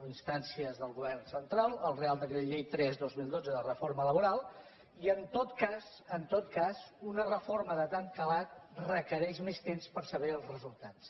a instàncies del govern central al re·ial decret llei tres dos mil dotze de reforma laboral i en tot cas en tot cas una reforma de tant calat requereix més temps per saber els resultats